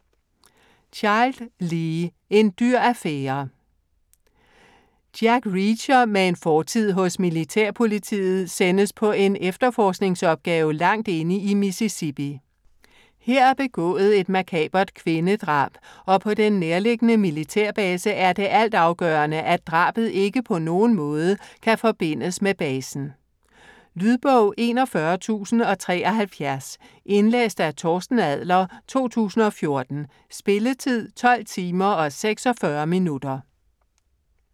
Child, Lee: En dyr affære Jack Reacher med en fortid hos militærpolitiet sendes på en efterforskningsopgave langt inde i Mississippi. Her er begået et makabert kvindedrab, og på den nærliggende militærbase er det altafgørende, at drabet ikke på nogen måde kan forbindes med basen. Lydbog 41073 Indlæst af Torsten Adler, 2014. Spilletid: 12 timer, 46 minutter.